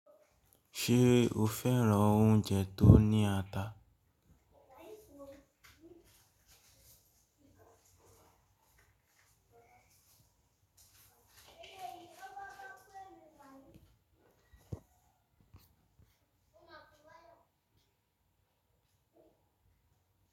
Ṣé o fẹ́ran oúnjẹ tó ní ata?